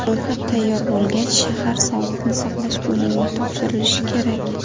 Ro‘yxat tayyor bo‘lgach, shahar sog‘liqni saqlash bo‘limiga topshirilishi kerak.